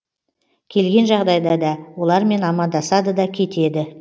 келген жағдайда да олармен амандасады да кетеді